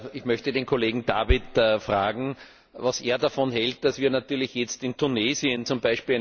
Ich möchte den Kollegen David fragen, was er davon hält, dass wir jetzt in Tunesien z.